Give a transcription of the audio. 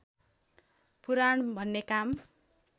पुराण भन्ने काम